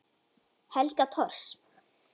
Helga Thors.